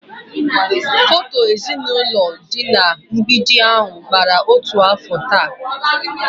Foto ezinụlọ dị na mgbidi ahụ gbawara otu afọ taa